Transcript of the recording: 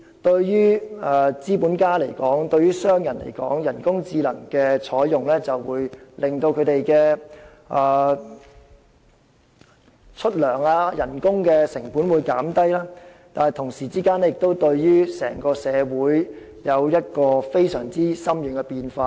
對於資本家和商人而言，採用人工智能無疑能令他們的工資成本減低，但這其實同時會為整個社會帶來非常深遠的變化。